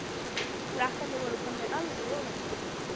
Krakkarnir voru komnir alveg ofan í hann.